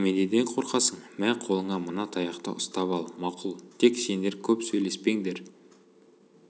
неменеден қорқасың мә қолыңа мына таяқты ұстап ал мақұл тек сендер көп сөйлеспеңдер